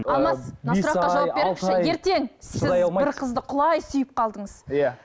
алмас мына сұраққа жауап беріңізші ертең сіз бір қызды құлай сүйіп қалдыңыз иә